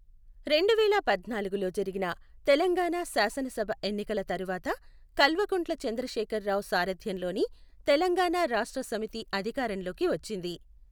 రెండువేల పద్నాలుగులో జరిగిన తెలంగాణ శాసనసభ ఎన్నికల తరువాత కల్వకుంట్ల చంద్రశేఖర్ రావు సారథ్యంలోని తెలంగాణ రాష్ట్ర సమితి అధికారంలోకి వచ్చింది.